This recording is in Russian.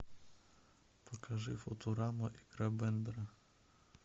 покажи футурама игра бендера